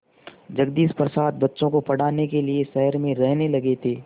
जगदीश प्रसाद बच्चों को पढ़ाने के लिए शहर में रहने लगे थे